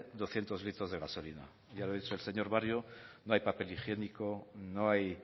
doscientos litros de gasolina ya le he dicho al señor barrio no hay papel higiénico no hay